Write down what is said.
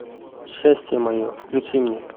счастье мое включи мне